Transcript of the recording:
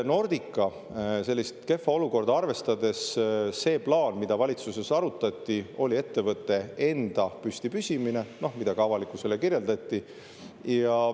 Nordica kehva olukorda arvestades see plaan, mida valitsuses arutati, oli ettevõtte enda püsti püsimine, mida ka avalikkusele kirjeldati.